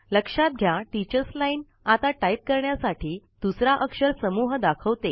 लक्षात घ्या teachers line आता टाईप करण्यासाठी दुसरा अक्षर समूह दाखवते